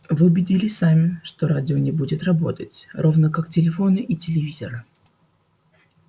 вы убедитесь сами что радио не будет работать равно как телефоны и телевизоры